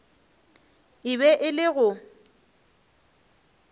e be e le go